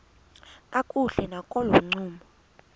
kakuhle nakolo ncumo